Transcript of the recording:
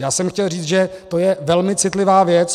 Já jsem chtěl říci, že to je velmi citlivá věc.